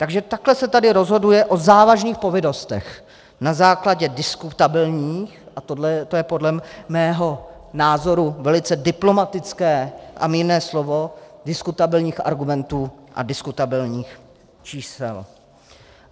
Takže takhle se tady rozhoduje o závažných povinnostech na základě diskutabilních - a to je podle mého názoru velice diplomatické a mírné slovo - diskutabilních argumentů a diskutabilních čísel.